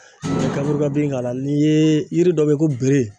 [Kaburu kan bin k'a la n'i ye yiri dɔ bɛ yen ko bere